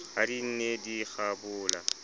ha di ne di kgabola